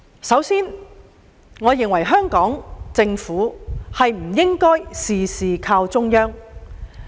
首先，我認為香港政府不應事事倚靠中央。